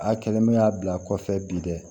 A kɛlen bɛ y'a bila kɔfɛ bi dɛ